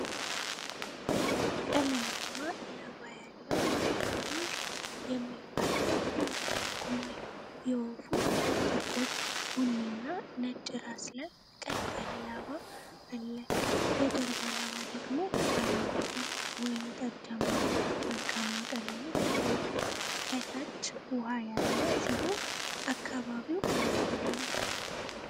ቀለማማ ላባ ያለው ላፕዊንግ (Lapwing) የሚባል ወፍ ድንጋይ ላይ ቆሟል። የወፉ ጥቁር፣ ቡኒና ነጭ ራስ ላይ ቀጥ ያለ ላባ አለ፤ የጀርባው ላባ ደግሞ አረንጓዴ፣ ወይንጠጃማና ወርቃማ ቀለሞች አሉት። ከታች ውሃ ያለ ሲሆን አካባቢው አረንጓዴ ነው።